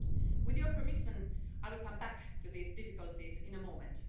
With your permission, I will come back to these difficulties in a moment.